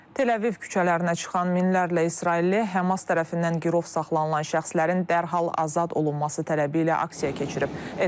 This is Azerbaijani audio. Tel Aviv küçələrinə çıxan minlərlə İsrailli Həmas tərəfindən girov saxlanılan şəxslərin dərhal azad olunması tələbi ilə aksiya keçirib.